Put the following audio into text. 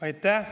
Aitäh!